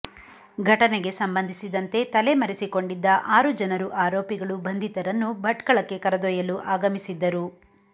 ಘಟನೆಗೆ ಸಂಬಂಧಿಸಿದಂತೆ ತಲೆ ಮರಿಸಿಕೊಂಡಿದ್ದ ಆರು ಜನರು ಆರೋಪಿಗಳು ಬಂಧಿತರನ್ನು ಭಟ್ಕಳಕ್ಕೆ ಕರೆದೊಯ್ಯಲು ಆಗಮಿಸಿದ್ದರು